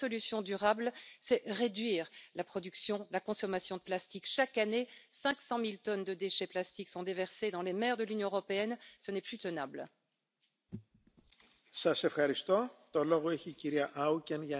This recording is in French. Monsieur le Président, une meilleure gestion des matières plastiques relève d'une urgence absolue quand on sait que plus de 150 millions de tonnes de plastiques se trouveraient dans les océans.